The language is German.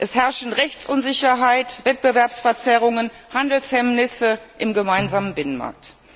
Es herrschen Rechtsunsicherheit, Wettbewerbsverzerrungen und Handelshemmnisse im gemeinsamen Binnenmarkt.